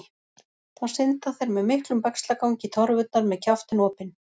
Þá synda þeir með miklum bægslagangi í torfurnar með kjaftinn opinn.